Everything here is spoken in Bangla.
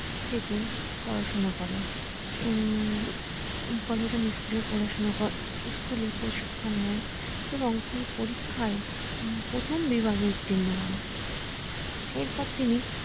থেকে পড়াশুনো করেন উম পড়াশুনো করেন স্কুল এ প্রশিক্ষণ নেন এবং তিনি পরীক্ষায় প্রথম বিভাগে উত্তীর্ণ হন এরপর তিনি